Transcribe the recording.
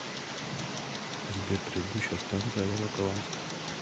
сбер предыдущая станция волоколамская